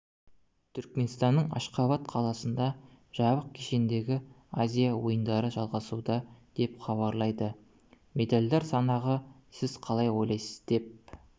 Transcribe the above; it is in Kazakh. түркменстанның ашхабад қаласында жабық кешендегі азия ойындары жалғасуда деп хабарлайды медальдар санағы сіз қалай ойлайсыз деп